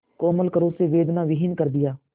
कोमल करों से वेदनाविहीन कर दिया